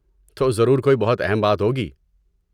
تو ضرور کوئی بہت اہم بات ہوگی؟